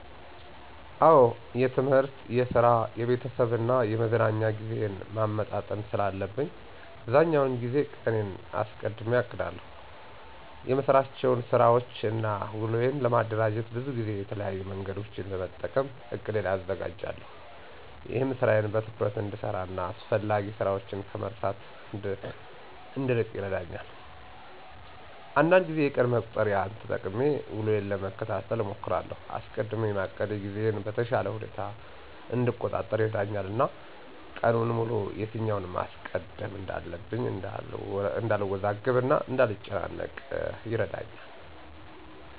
አዎ የትምህርት፣ የስራ፣ የቤተሰብ እና የመዝናኛ ጊዜዬን ማመጣጠን ስላለብኝ አብዛኛውን ጊዜ ቀኔን አስቀድሜ አቅዳለሁ። የምሰራቸውን ስራወችን እና ውሎዬን ለማደራጀት ብዙ ጊዜ የተለያዩ መንገዶችን በመጠቀም እቅዴን አዘጋጃለሁ። ይህም ስራዬን በትኩረት እንድሰራ እና አስፈላጊ ስራችን ከመርሳት እንድንርቅ ይረዳኛል። አንዳንድ ጊዜ የቀን መቁጠሪያን ተጠቅሜ ውሎዬን ለመከታተል እሞክራለሁ። አስቀድሜ ማቀዴ ጊዜዬን በተሻለ ሁኔታ እንድቆጣጠር ይረዳኛል እና ቀኑን ሙሉ የትኛውን ማስቀደም እንዳለብኝ እንዳልወዛገብ እና እንዳልጨናነቅ ይረዳኛል።